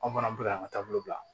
Aw fana bɛ ka taabolo bila